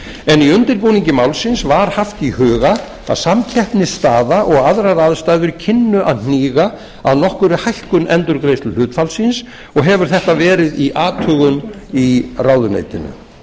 en í undirbúningi málsins var haft í huga að samkeppnisstaða og aðrar aðstæður kynnu að hníga að nokkurri hækkun endurgreiðsluhlutfallsins og hefur þetta verið í athugun í ráðuneytinu